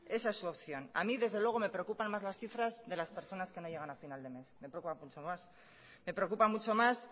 esa es su opción a mí desde luego me preocupan más las cifras de las personas que no llegan a final de mes me preocupan mucho más